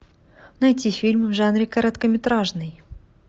найти фильм в жанре короткометражный